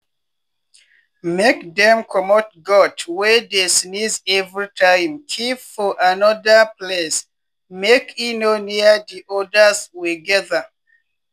make dem comot goat wey dey sneeze everytime keep for anoda place make e no near di odas wey gather.